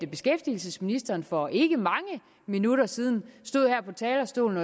beskæftigelsesministeren for ikke mange minutter siden stod her på talerstolen